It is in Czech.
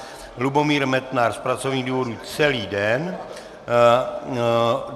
Lubomír Metnar z pracovních důvodů celý den.